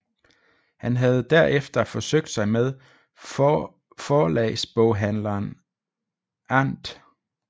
Han havde derefter forsøgt sig med forlagsboghandleren Andr